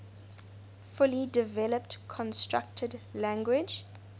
fully developed constructed language